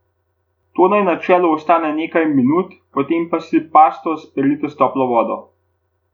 To naj na čelu ostane nekaj minut, potem pa si pasto sperite s toplo vodo.